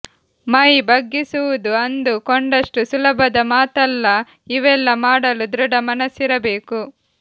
ಮೈ ಬಗ್ಗಿಸುವುದು ಅಂದು ಕೊಂಡಷ್ಟು ಸುಲಭದ ಮಾತಲ್ಲ ಇವೆಲ್ಲ ಮಾಡಲು ದೃಢ ಮನಸ್ಸಿರಬೇಕು